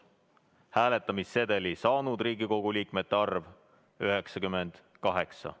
Hääletamissedeli saanud Riigikogu liikmete arv: 98.